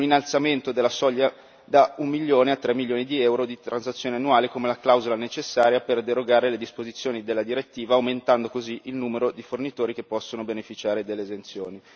un innalzamento della soglia da 1 milione a 3 milioni di euro di transazioni annuali, come la clausola necessaria per derogare alle disposizioni della direttiva, aumentando così il numero di fornitori che possono beneficiare dell'esenzione.